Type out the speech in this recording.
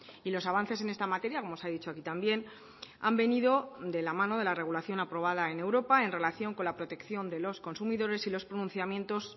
y los avances en esta materia como se ha dicho aquí también han venido de la mano de la regulación aprobada en europa en relación con la protección de los consumidores y los pronunciamientos